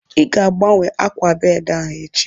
Ị ga-agbanwe ákwà bedị ahu echi